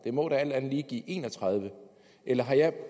må da alt andet lige give en og tredive eller har jeg